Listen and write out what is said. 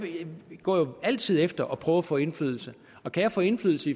går jo altid efter at prøve at få indflydelse og kan jeg få indflydelse